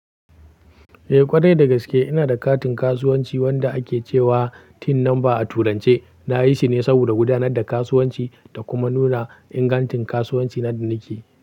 Eh ƙwarai dagaske ina da katin kasuwanci wanda ake cewa TIN number a turance. Na yi shi ne saboda gudanar da kasuwanci da kuma nuna ingantin kasuwanci na da nake.